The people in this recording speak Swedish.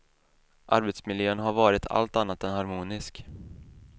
Arbetsmiljön har varit allt annat än harmonisk.